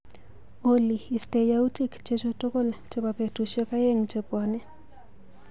Olly, istee yautik chechu tukul chebo betushek aeng chebwani.